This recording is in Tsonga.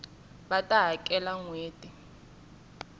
va ta hakela nhweti leyi taka